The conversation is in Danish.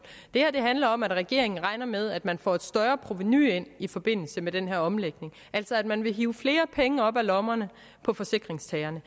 det her handler om at regeringen regner med at man får et større provenu ind i forbindelse med den her omlægning altså at man vil hive flere penge op af lommerne på forsikringstagerne